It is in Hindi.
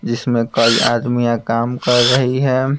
जिसमें कई आदमियां काम कर रही है।